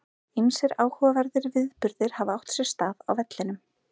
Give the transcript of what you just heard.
Ýmsir áhugaverðir viðburðir hafa átt sér stað á vellinum.